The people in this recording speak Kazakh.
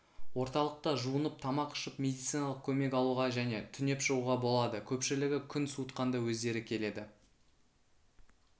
орталықта жуынып тамақ ішіп медициналық көмек алуға және түнеп шығуға болады көпшілігі күн суытқанда өздері келеді